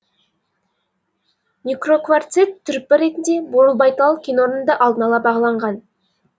микрокварцит түрпі ретінде бурылбайтал кенорнында алдын ала бағаланған